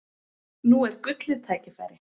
Nú er gullið tækifæri!